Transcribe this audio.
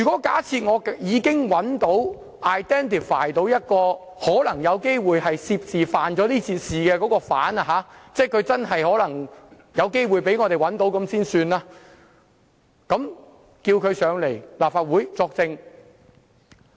假設我已找到或 identify 一個可能有機會涉事或犯事的疑犯——先假定他真的有機會被我們找到——然後請他來立法會作證。